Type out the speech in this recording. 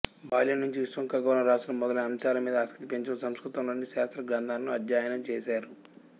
బాల్యం నుంచి విశ్వం ఖగోళం రాశులు మొదలైన అంసాల మిద ఆసక్తి పెంచుకొని సంస్కృతంలోని శాస్త్ర గ్రంథాలను అధ్యయనం చేశారు